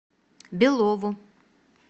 белову